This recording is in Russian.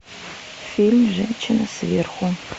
фильм женщина сверху